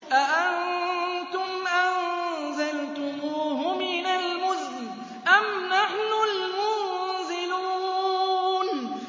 أَأَنتُمْ أَنزَلْتُمُوهُ مِنَ الْمُزْنِ أَمْ نَحْنُ الْمُنزِلُونَ